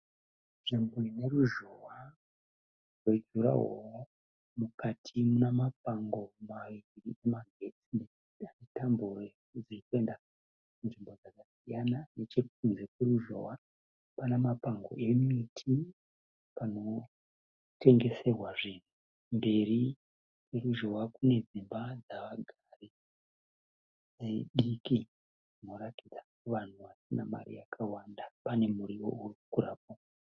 Nzvimbo ine ruzhowa rwejurawoo. Mukati mune mapango maviri emagetsi ane tambo dziri kuenda kunzvimbo dzakasiyana. Nechekunze kweruzhowa pana mapango emiti panotengeserwa zvinhu. Mberi kweruzhowa kune dzimba dzevagari diki dzinoratidza kuti vanhu vasina mari yakawanda. Pane muriwo uri kukurawo.